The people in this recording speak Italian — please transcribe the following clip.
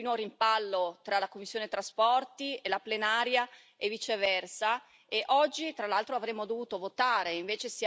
e la plenaria e viceversa e oggi, tra l'altro, avremmo dovuto votare e invece siamo ancora, purtroppo, alla discussione.